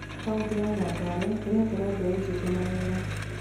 Kauntĩ ya Nyandarua ĩretĩra mbeũ njĩthĩ mawĩra.